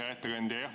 Hea ettekandja!